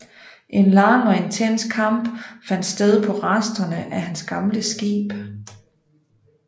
En lang og intens kamp fandt sted på resterne af hans gamle skib